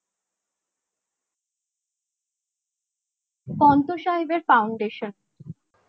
পান্থ সাহেবের faundation